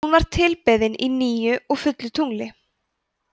hún var tilbeðin á nýju og fullu tungli